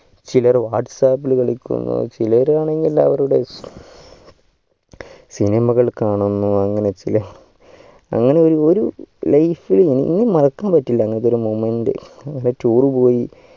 ചിലർ whatssap ഇൽ കളിക്കുന്നു ചിലരാണെങ്കിൽ എല്ലാവരുടെ cinema കൾ കാണുന്നു അങ്ങനെ ചില അങ്ങനെ ഒരു life ഇൽ ഒന്നും മറക്കാൻ പറ്റില്ല അങ്ങനത്തൊരു moment അങ്ങനെ tour പോയി